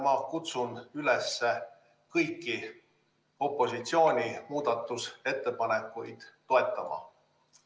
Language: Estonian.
Ma kutsun üles kõiki opositsiooni muudatusettepanekuid toetama.